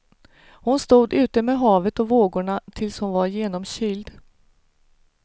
Hon stod ute med havet och vågorna tills hon var genomkyld.